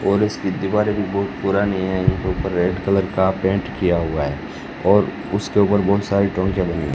और इसकी दीवारें भी बहुत पुरानी हैं ऊपर रेड कलर का पेंट किया हुआ है और उसके ऊपर बहुत सारी लगी है--